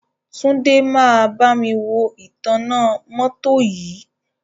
Túnjí máa bámi wo ìtanná mọ́tọ́ yìí.